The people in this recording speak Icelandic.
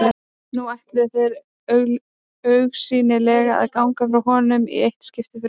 Nú ætluðu þeir augsýnilega að ganga frá honum í eitt skipti fyrir öll.